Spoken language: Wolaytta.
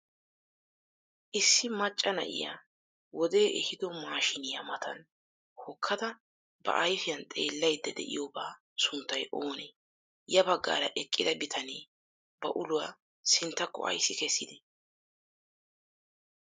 issi maccaa naa'iya wode ehido mashshinniyaa matan hokkada ba ayfiyan xellaydda de'iyobaa sunttay oone? ya baggara eqqida bitaane ba uluwa sinttako aysi kessidee?